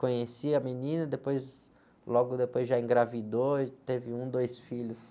Conheci a menina, depois, logo depois já engravidou, teve um, dois filhos.